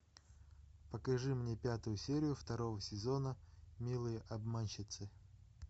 покажи мне пятую серию второго сезона милые обманщицы